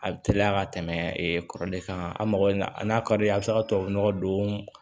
A bɛ teliya ka tɛmɛ e kɔrɔlen kan a mago n'a ka d'i ye a' bɛ se ka tubabu nɔgɔ don